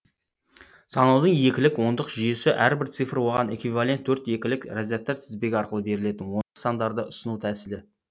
санаудың екілік ондық жүйесі әрбір цифр оған эквивалент төрт екілік разрядтар тізбегі арқылы берілетін ондық сандарды ұсыну тәсілі